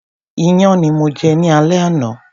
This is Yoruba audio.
Iyán ni mo jẹ ní alé àná.